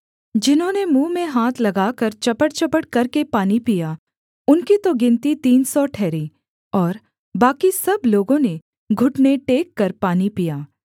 जिन्होंने मुँह में हाथ लगाकर चपड़चपड़ करके पानी पिया उनकी तो गिनती तीन सौ ठहरी और बाकी सब लोगों ने घुटने टेककर पानी पिया